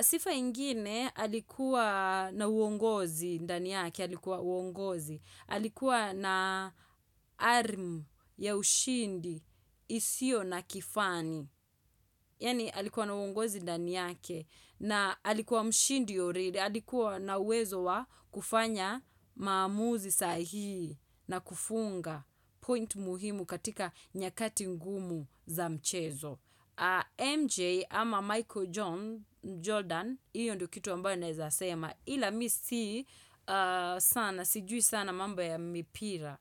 Sifa ingine alikuwa na uongozi ndani yake, alikuwa uongozi, alikuwa na ari ya ushindi, isiyo na kifani, yaani alikuwa na uongozi ndani yake, na alikuwa mshindi already, alikuwa na uwezo wa kufanya maamuzi sahihi na kufunga point muhimu katika nyakati ngumu za mchezo. MJ ama Michael Jordan hiyo ndio kitu ambayo naeza sema. Ila mi si sana, sijui sana mambo ya mipira.